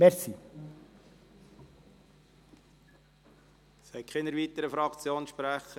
Es gibt keine weiteren Fraktionssprecher.